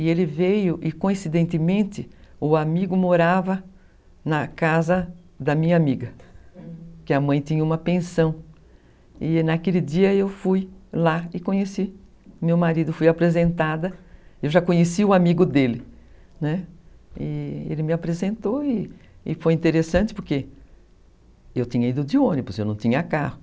E ele veio e coincidentemente o amigo morava na casa da minha amiga, que a mãe tinha uma pensão. E naquele dia eu fui lá e conheci o meu marido. Fui apresentada eu já conheci o amigo dele, né, e ele me apresentou e e foi interessante porque eu tinha ido de ônibus eu não tinha carro